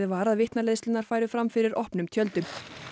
var að vitnaleiðslurnar færu fram fyrir opnum tjöldum